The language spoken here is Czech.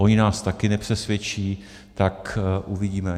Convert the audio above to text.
Oni nás také nepřesvědčí, tak uvidíme.